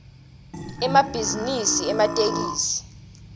emabhizinisi ematekisi